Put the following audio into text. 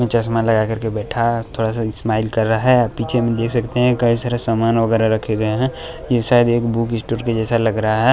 ने चश्मा लगा कर के बैठा थोड़ा सा स्माइल कर रहा है आप पीछे में देख सकते हैं कई सारे सामान वगैरह रखे गए हैं ये शायद एक बुक स्टोर के जैसा लग रहा है।